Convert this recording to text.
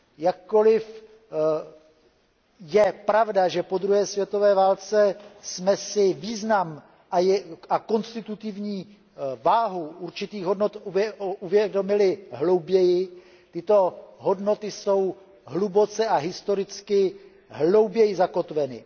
Jakkoliv je pravda, že po druhé světové válce jsme si význam a konstitutivní váhu určitých hodnot uvědomili hlouběji, tyto hodnoty jsou hluboce a historicky hlouběji zakotveny.